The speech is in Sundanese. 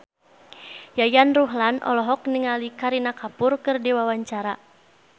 Yayan Ruhlan olohok ningali Kareena Kapoor keur diwawancara